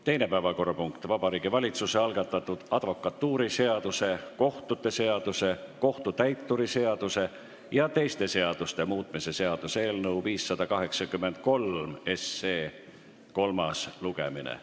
Teine päevakorrapunkt: Vabariigi Valitsuse algatatud advokatuuriseaduse, kohtute seaduse, kohtutäituri seaduse ja teiste seaduste muutmise seaduse eelnõu 583 kolmas lugemine.